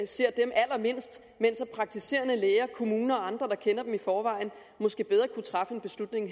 ser dem allermindst mens praktiserende læger kommuner og andre der kender dem i forvejen måske bedre kunne træffe en beslutning